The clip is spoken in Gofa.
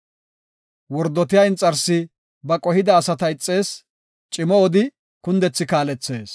Wordotiya inxarsi ba qohida asata ixees; cimo odi kundethi kaalethees.